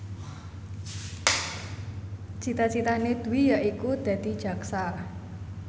cita citane Dwi yaiku dadi jaksa